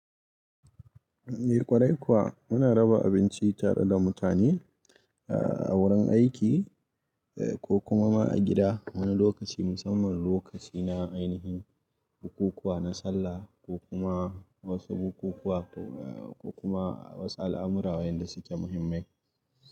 Eh kwarai kuwa, muna raba abinci tare da mutane a wurin aiki ko kuma ma a gida wani lokaci musamman lokaci na ainihin bukukuwa, na sallah ko kuma wasu bukukuwa ko kuma wasu al'amura wanda suke muhimmai.